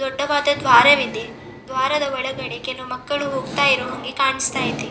ದೊಡ್ಡವದ ದ್ವಾರವಿದೆ ದ್ವಾರದ ಒಳಗಡೆ ಕೆಲ ಮಕ್ಕಳು ಹೋಗ್ತಾ ಇರೋ ಹಂಗೆ ಕಾಣಿಸ್ತ ಇದೆ .